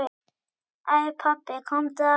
Æ pabbi, komdu aftur.